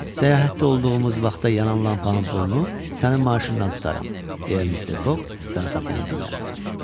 Səyahətdə olduğumuz vaxtda yanan lampanın pulunu sənin maaşından tutaram, deyə mister Fog zarafatyanə dilləndi.